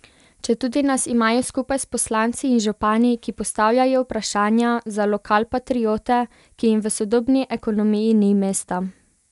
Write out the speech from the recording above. Četudi nas imajo skupaj s poslanci in župani, ki postavljajo vprašanja, za lokalpatriote, ki jim v sodobni ekonomiji ni mesta.